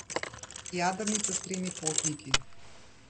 Jadrnica s tremi potniki.